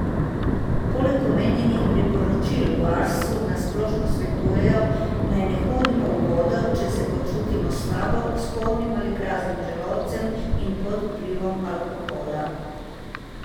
Poleg omenjenih priporočil v Arsu na splošno svetujejo, naj ne hodimo v vodo, če se počutimo slabo, s polnim ali praznim želodcem in pod vplivom alkohola.